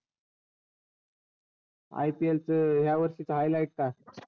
IPL च ह्या वर्षीच highlight का?